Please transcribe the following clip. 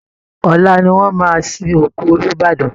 Ọ̀la ni wọ́n máa sin òkú Olúbàdàn